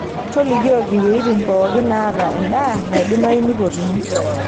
tolikoiki weetin pookin naata edaa naidimayu nipotuni